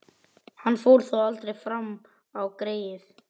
Hann fór þó aldrei fram á það, greyið.